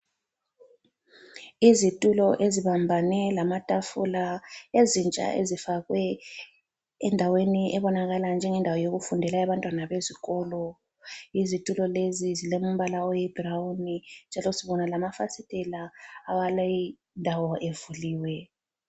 Izitulo ezibambane lamatafula ezintsha ezifakwe endaweni ebonakala njengendawo yokufundela yabantwana bezikolo. Izitulo lezi zilombala oyi "brown"njalo sibona lamafasitela awaleyi ndawo evuliwe.